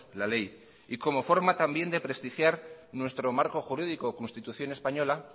la ley y como forma también de prestigiar nuestro marco jurídico constitución española